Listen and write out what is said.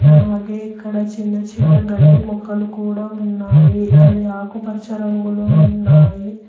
అలాగే ఇక్కడ చిన్న చిన్న గడ్డి ముక్కలు కూడా ఉన్నాయి అవి ఆకుపచ్చ రంగులో ఉన్నాయి.